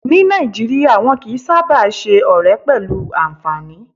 Ní Nàìjíríyà, wọ́n kìí sáábà ṣe ọ̀rẹ́ pẹ̀lú anfààní